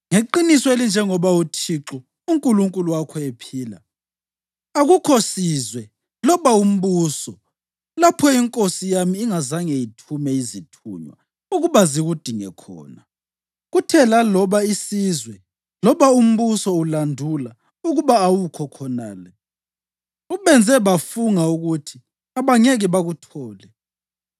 Ngeqiniso elinjengoba uThixo uNkulunkulu wakho ephila, akukho sizwe loba umbuso lapho inkosi yami ingazange ithume izithunywa ukuba zikudinge khona. Kuthe laloba isizwe loba umbuso ulandula ukuba awukho khonale, ubenze bafunga ukuthi abangeke bakuthole.